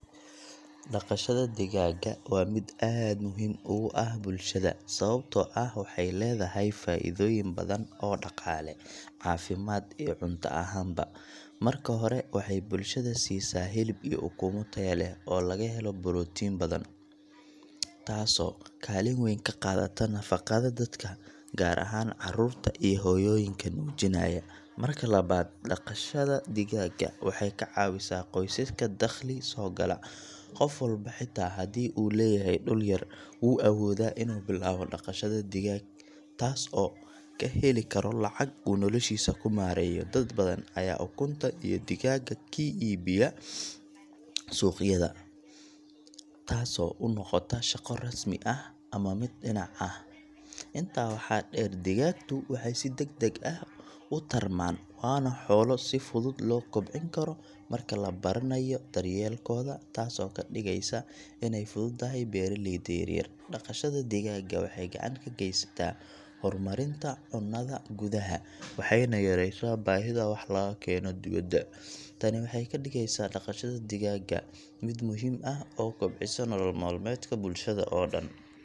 Dhaqashada digaagga waa mid aad muhiim ugu ah bulshada, sababtoo ah waxay leedahay faa’iidooyin badan oo dhaqaale, caafimaad iyo cunto ahaanba. Marka hore, waxay bulshada siisaa hilib iyo ukumo taya leh oo laga helo borotiin badan, taasoo kaalin weyn ka qaadata nafaqada dadka, gaar ahaan carruurta iyo hooyooyinka nuujinaya. Marka labaad, dhaqashada digaagga waxay ka caawisaa qoysaska dakhli soo gala. Qof walba, xitaa haddii uu leeyahay dhul yar, wuu awoodaa inuu bilaabo dhaqashada digaag, taas oo uu ka heli karo lacag uu noloshiisa ku maareeyo. Dad badan ayaa ukunta iyo digaagga ka iibiyo suuqyada, taasoo u noqota shaqo rasmi ah ama mid dhinac ah. Intaa waxaa dheer, digaagtu waxay si degdeg ah u tarmaan, waana xoolo si fudud loo kobcin karo marka la baranayo daryeelkooda, taasoo ka dhigaysa inay u fududahay beeraleyda yaryar. Dhaqashada digaagga waxay gacan ka geysataa horumarinta cunnada gudaha, waxayna yaraysaa baahida wax laga keeno dibadda. Tani waxay ka dhigeysaa dhaqashada digaagga mid muhiim ah oo kobcisa nolol maalmeedka bulshada oo dhan.